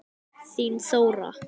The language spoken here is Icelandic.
Þín Þóra.